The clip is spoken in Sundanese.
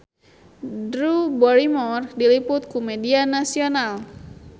Drew Barrymore diliput ku media nasional